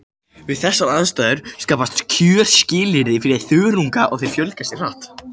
Við þessar aðstæður skapast kjörskilyrði fyrir þörunga og þeir fjölga sér hratt.